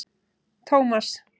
Tómas